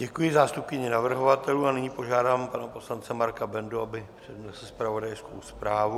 Děkuji zástupkyni navrhovatelů a nyní požádám pana poslance Marka Bendu, aby přednesl zpravodajskou zprávu.